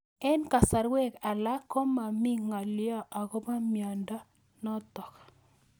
Eng'kasarwek alak ko mami ng'alyo akopo miondo notok